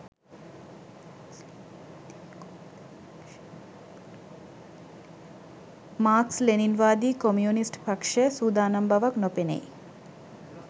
Marx ලෙනින්වාදී communist පක්ෂය සූදානම් බවක් නොපෙනෙයි